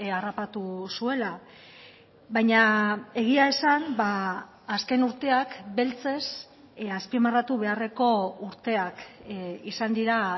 harrapatu zuela baina egia esan azken urteak beltzez azpimarratu beharreko urteak izan dira